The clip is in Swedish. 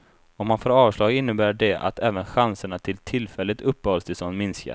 Om han får avslag innebär det att även chanserna till tillfälligt uppehållstillstånd minskar.